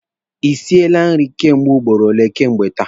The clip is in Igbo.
Ị siele nri kemgbe ugboro ole kemgbe taa?